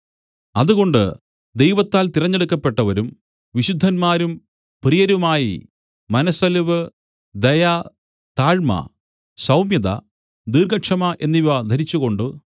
അതുകൊണ്ട് ദൈവത്താൽ തിരഞ്ഞെടുക്കപ്പെട്ടവരും വിശുദ്ധന്മാരും പ്രിയരുമായി മനസ്സലിവ് ദയ താഴ്മ സൌമ്യത ദീർഘക്ഷമ എന്നിവ ധരിച്ചുകൊണ്ട്